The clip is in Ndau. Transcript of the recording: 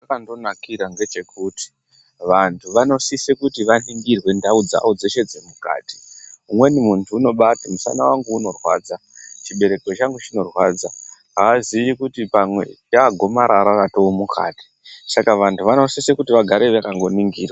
Chazvakandonakira ngechekuti vanhu vanosise kuti vaningire ndau dzao dzeshe dzemukati umweni muntu unoti musana wangu unorwadza ,chibereko changu chinorwadza aziyi kuti pamwe ratoo gomarara ratomukati, saka vanhu vanosise kuti vagare vakaningirwa.